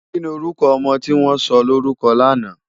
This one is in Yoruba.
Kini órùkò òmò tiwòn sòlórùkò làná?